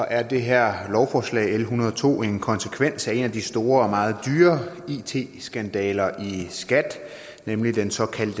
er det her lovforslag l en hundrede og to en konsekvens af en af de store og meget dyre it skandaler i skat nemlig den såkaldte